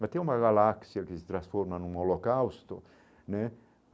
Mas tem uma galáxia que se transforma num holocausto né.